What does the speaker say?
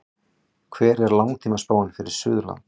hver er langtímaspáin fyrir suðurland